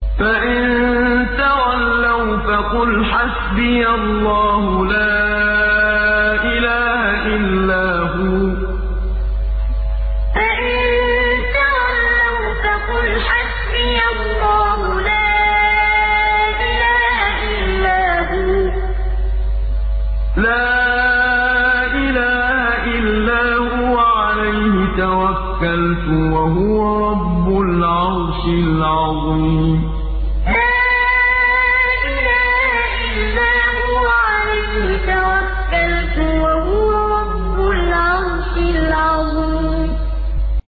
فَإِن تَوَلَّوْا فَقُلْ حَسْبِيَ اللَّهُ لَا إِلَٰهَ إِلَّا هُوَ ۖ عَلَيْهِ تَوَكَّلْتُ ۖ وَهُوَ رَبُّ الْعَرْشِ الْعَظِيمِ فَإِن تَوَلَّوْا فَقُلْ حَسْبِيَ اللَّهُ لَا إِلَٰهَ إِلَّا هُوَ ۖ عَلَيْهِ تَوَكَّلْتُ ۖ وَهُوَ رَبُّ الْعَرْشِ الْعَظِيمِ